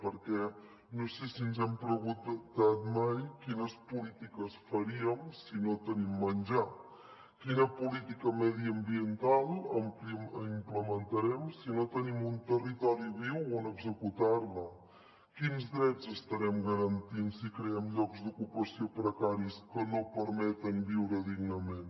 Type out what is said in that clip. perquè no sé si ens hem preguntat mai quines polítiques farem si no tenim menjar quina política mediambiental implementarem si no tenim un territori viu on executar la quins drets estarem garantint si creem llocs d’ocupació precaris que no permeten viure dignament